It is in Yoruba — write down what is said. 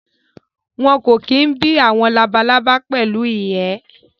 Wọn kò kí bí àwọn labalábá pẹ̀lú ìyẹ́